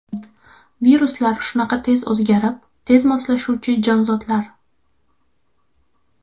Viruslar shunaqa tez o‘zgarib, tez moslashuvchi jonzotlar.